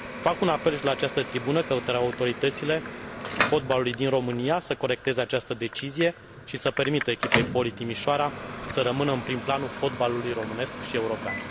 Fac un apel și de la această tribună către autoritățile fotbalului din România să corecteze această decizie și să permită echipei Poli Timișoara să rămână în prim planul fotbalului românesc și european.